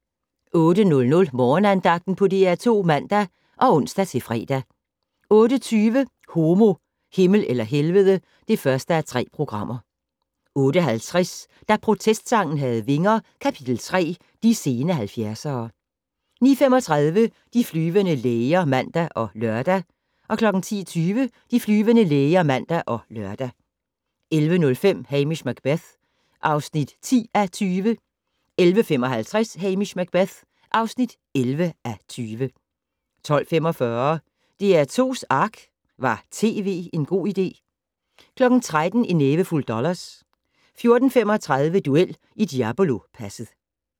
08:00: Morgenandagten på DR2 (man og ons-fre) 08:20: Homo, Himmel eller Helvede (1:3) 08:50: Da protestsangen havde vinger - Kap.3: De sene 70'ere 09:35: De flyvende læger (man og lør) 10:20: De flyvende læger (man og lør) 11:05: Hamish Macbeth (10:20) 11:55: Hamish Macbeth (11:20) 12:45: DR2's Ark - Var tv en god idé? 13:00: En nævefuld dollars 14:35: Duel i Diablopasset